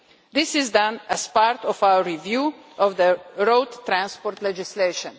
This is done as part of our review of the road transport legislation.